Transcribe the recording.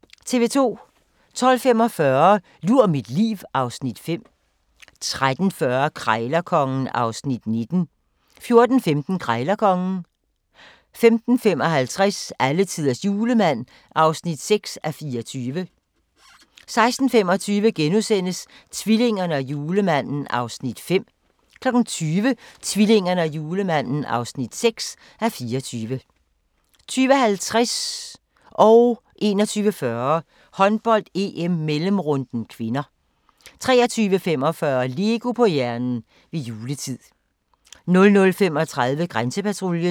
12:45: Lur mit liv (Afs. 5) 13:40: Krejlerkongen (Afs. 19) 14:15: Krejlerkongen 15:55: Alletiders Julemand (6:24) 16:25: Tvillingerne og Julemanden (5:24)* 20:00: Tvillingerne og Julemanden (6:24) 20:50: Håndbold: EM - mellemrunden (k) 21:40: Håndbold: EM - mellemrunden (k) 23:45: LEGO på hjernen - ved juletid 00:35: Grænsepatruljen